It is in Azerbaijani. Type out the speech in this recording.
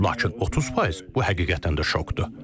Lakin 30 faiz bu həqiqətən də şokdur.